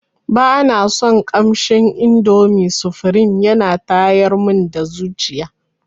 Bana son kamshin indomi sufrim yana tayar mun da zuciya.